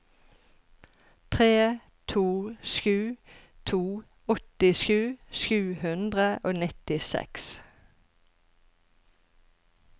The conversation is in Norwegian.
tre to sju to åttisju sju hundre og nittiseks